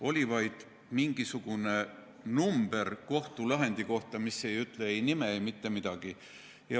Oli vaid mingisugune number kohtulahendi kohta, mis ei ütle ei nime ega mitte midagi.